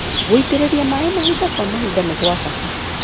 Gũitĩrĩria maĩ mahinda kwa mahinda nĩ gwa bata.